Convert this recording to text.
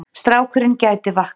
Strákurinn gæti vaknað.